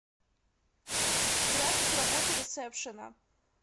график работы ресепшена